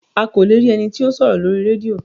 O kò le rí ení tí o sòrò Lórí rédíò